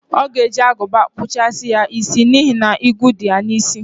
O ga-eje aguba kpuchasi ya isi n'ihi na igwu di ya n'isi.